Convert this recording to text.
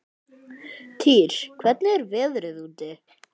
Týr, hvernig er veðrið úti?